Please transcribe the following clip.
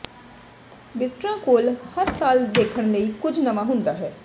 ਵਿਜ਼ਟਰਾਂ ਕੋਲ ਹਰ ਸਾਲ ਦੇਖਣ ਲਈ ਕੁਝ ਨਵਾਂ ਹੁੰਦਾ ਹੈ